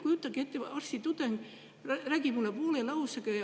Kujutage ette, arstitudeng räägib mulle poole lausega.